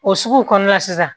O sugu kɔnɔna la sisan